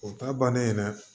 O ta bannen dɛ